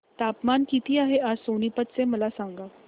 तापमान किती आहे आज सोनीपत चे मला सांगा